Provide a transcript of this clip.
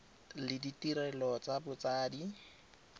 le ditirelo tsa botsadi ka